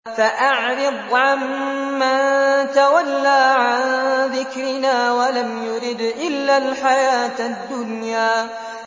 فَأَعْرِضْ عَن مَّن تَوَلَّىٰ عَن ذِكْرِنَا وَلَمْ يُرِدْ إِلَّا الْحَيَاةَ الدُّنْيَا